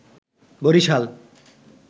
Barishal